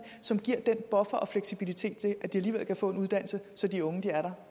som giver den buffer og fleksibilitet så de alligevel kan få en uddannelse så de unge er der